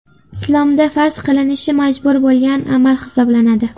Islomda farz qilinishi majbur bo‘lgan amal hisoblanadi.